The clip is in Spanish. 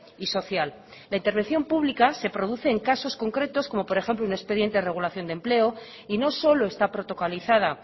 y social la intervención púbica se produce en casos concretos como por ejemplo un expediente de regulación de empleo y no solo está protocolizada